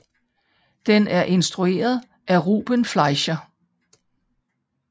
Den er instrueret af Ruben Fleischer